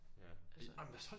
Ja ej men deres hold